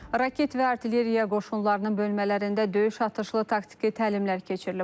Raket və artilleriya qoşunlarının bölmələrində döyüş atışlı taktiki təlimlər keçirilib.